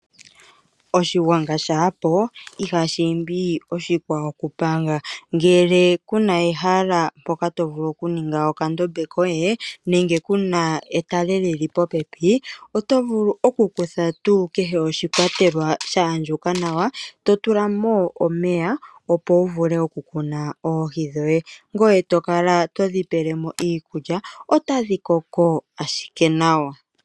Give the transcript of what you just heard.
Oshigwanga shaa po ihashi imbi oshikwawo okupanga. Ngele ku na ehala mpoka to vulu okuninga okandombe koye nenge ku na etale li li popepi, oto vulu okukutha tuu kehe oshikwatelwa sha andjuka nawa to tula mo omeya, opo wu vule okumuna oohi dhoye ngoye to kala to dhi pele mo iikulya otadhi koko ashike nawa.